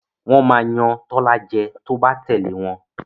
wón má Yàn Tola jé tó bá tèlé wón